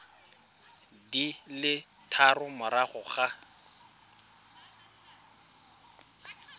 di le tharo morago ga